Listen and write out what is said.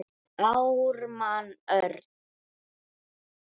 Ármann Örn.